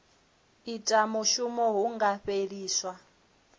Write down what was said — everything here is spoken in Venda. ita mushumo hu nga fheliswa